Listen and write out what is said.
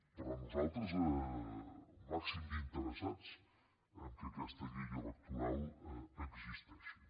però nosaltres al màxim d’interessats que aquesta llei electoral existeixi